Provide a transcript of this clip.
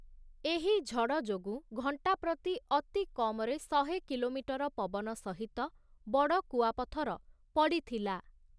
ଏହି ଝଡ଼ ଯୋଗୁଁ ଘଣ୍ଟା ପ୍ରତି ଅତି କମରେ ଶହେ କିଲୋମିଟର ପବନ ସହିତ ବଡ଼ କୁଆପଥର ପଡ଼ିଥିଲା ।